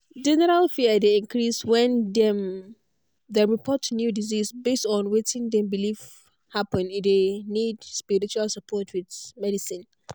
general fear dey increase when dem dem report new disease base on wetin dem believe happen e dey need spiritual support with medicine.